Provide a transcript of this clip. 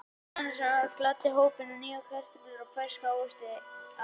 Annað sem ævinlega gladdi hópinn var að fá nýjar kartöflur eða ferska ávexti að vestan.